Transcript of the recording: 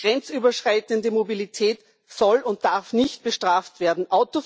Die grenzüberschreitende Mobilität soll und darf nicht bestraft werden.